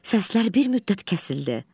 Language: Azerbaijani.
Səslər bir müddət kəsildi.